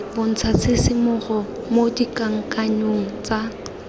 bontsha tshisimogo mo dikakanyong tsa